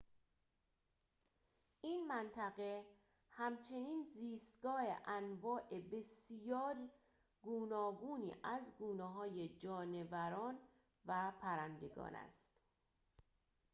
این منطقه همچنین زیستگاه انواع بسیار گوناگونی از گونه‌های جانوران و پرندگان است